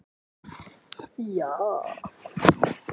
Af steinunum spratt svo mannkyn hetjualdar.